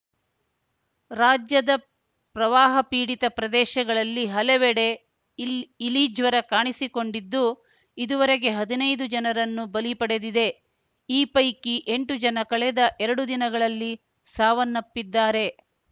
ರಾಜ್ಯದ ಪ್ರವಾಹ ಪೀಡಿತ ಪ್ರದೇಶಗಳಲ್ಲಿ ಹಲವೆಡೆ ಇಲ್ಇಲಿ ಜ್ವರ ಕಾಣಿಸಿಕೊಂಡಿದ್ದು ಇದುವರೆಗೆ ಹದಿನೈದು ಜನರನ್ನು ಬಲಿ ಪಡೆದಿದೆ ಈ ಪೈಕಿ ಎಂಟು ಜನ ಕಳೆದ ಎರಡು ದಿನಗಳಲ್ಲಿ ಸಾವನ್ನಪ್ಪಿದ್ದಾರೆ